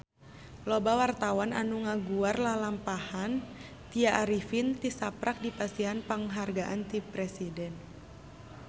Loba wartawan anu ngaguar lalampahan Tya Arifin tisaprak dipasihan panghargaan ti Presiden